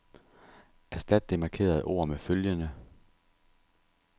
Erstat det markerede ord med følgende.